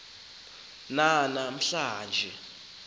nana mhla nje